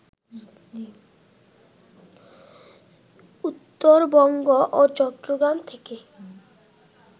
উত্তরবঙ্গ ও চট্টগ্রাম থেকে